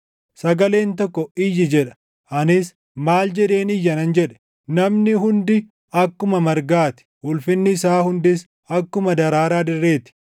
Sagaleen tokko “Iyyi” jedha. Anis, “Maal jedheen iyya?” nan jedhe. “Namni hundi akkuma margaa ti; ulfinni isaa hundis akkuma daraaraa dirree ti.